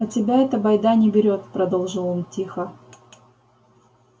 а тебя эта байда не берёт продолжил он тихо